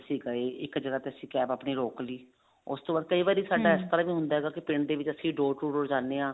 ਅਸੀਂ ਗਏ ਇੱਕ ਜਗ੍ਹਾ ਤੇ ਅਸੀਂ CAB ਆਪਣੀ ਰਿਕ ਲਈ ਉਸਤੋਂ ਵਾਰੀ ਸਾਡਾ ਇਸ ਤਰ੍ਹਾਂ ਵੀ ਹੁੰਦਾ ਹੈਗਾ ਕੇ ਪਿੰਡ ਦੇ ਵਿੱਚ ਅਸੀਂ door to door ਜਾਂਦੇ ਹਾਂ